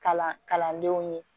Kalan kalandenw ye